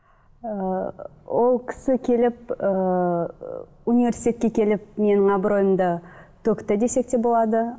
ыыы ол кісі келіп ыыы университетке келіп менің абыройымды төкті десек те болады